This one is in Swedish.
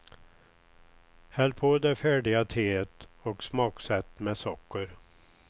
Häll på det färdiga teet och smaksätt med socker.